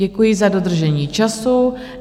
Děkuji za dodržení času.